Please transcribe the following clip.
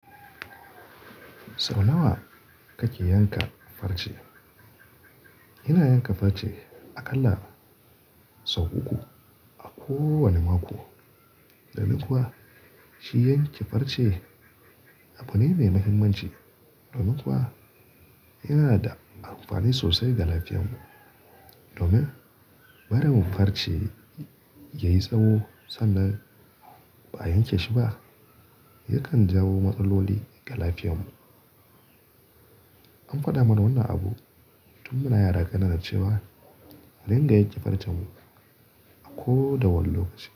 Sau nawa kake yanka farce? Ina yanka farce a ƙalla sau uku a ko wane mako. Dmin kuwa shi yanke farce abu ne mai mahimmanci, domin kuwa yana da amfani sosai ga lafiyanmu. Domin barin farce yayi tsawo sannan ba a yanke shi ba yakan jawo matsaloli ga lafiyanmu. An faɗa mana wannan abu tun muna yara kanana cewa a ringa yanke farcemu a ko da wane lokaci.